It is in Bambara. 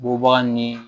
Bɔbaga ni